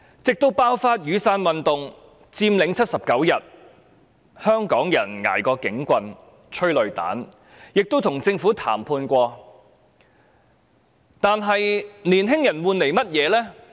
直至雨傘運動爆發、79天的佔領，香港人捱過了警棍和催淚彈，亦曾與政府談判，但青年人換來了甚麼呢？